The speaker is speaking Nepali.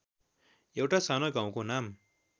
एउटा सानो गाउँको नाम